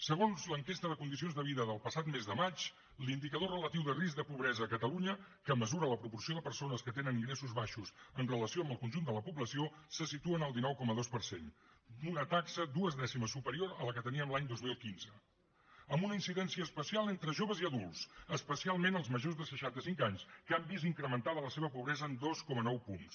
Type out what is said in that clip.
segons l’enquesta de condicions de vida del passat mes de maig l’indicador relatiu de risc de pobresa a catalunya que mesura la proporció de persones que tenen ingressos baixos en relació amb el conjunt de la població se situa en el dinou coma dos per cent una taxa dues dècimes superior a la que teníem l’any dos mil quinze amb una incidència especial entre joves i adults especialment els majors de seixanta cinc anys que han vist incrementada la seva pobresa en dos coma nou punts